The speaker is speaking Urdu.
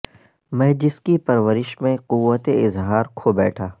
میں جس کی پرورش میں قوت اظہار کھو بیٹھا